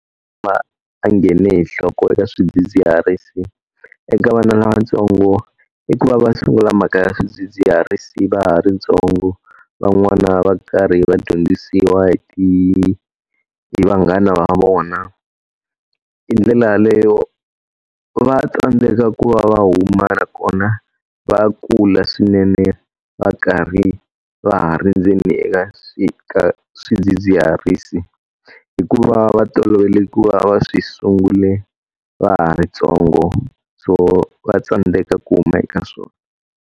a ngheni hi nhloko eka swidzidziharisi. Eka vana lavatsongo i ku va va sungula mhaka ya swidzidziharisi va ha ri ntsongo, van'wana va karhi va dyondzisiwa hi hi vanghana va vona. Hi ndlela yaleyo va tsandzeka ku va va huma nakona va kula swinene va karhi va ha ri ndzeni eka ka swidzidziharisi. Hikuva va tolovele ku va va swi sungule va ha ri ntsongo, so va tsandzeka ku huma eka swona.